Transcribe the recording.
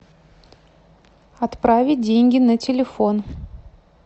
отправить деньги на телефон